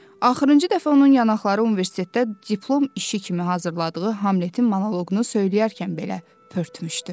Axırıncı dəfə onun yanaqları universitetdə diplom işi kimi hazırladığı Hamletin monoqunu söyləyərkən belə pörtmüşdü.